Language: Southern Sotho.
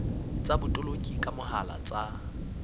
tsa botoloki ka mohala tsa